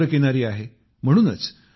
केंद्रपाड़ा समुद्र किनारी आहे